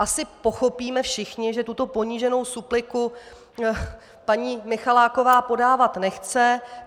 Asi pochopíme všichni, že tuto poníženou supliku paní Michaláková podávat nechce.